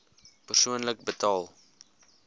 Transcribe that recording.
persoonlik betaal